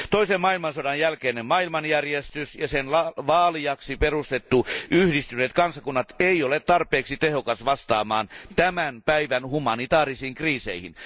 Toisen maailmansodan jälkeinen maailmanjärjestys ja sen vaalijaksi perustettu Yhdistyneet kansakunnat ei ole tarpeeksi tehokas vastaamaan tämän päivän humanitäärisiin kriiseihin.